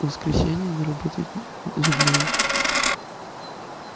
воскресенье не работает зубной